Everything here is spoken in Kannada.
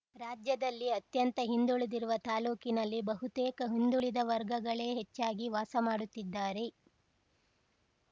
ರಾಜ್ಯದಲ್ಲಿ ಅತ್ಯಂತ ಹಿಂದುಳಿದಿರುವ ತಾಲೂಕಿನಲ್ಲಿ ಬಹುತೇಕ ಹಿಂದುಳಿದ ವರ್ಗಗಳೇ ಹೆಚ್ಚಾಗಿ ವಾಸ ಮಾಡುತ್ತಿದ್ದಾರೆ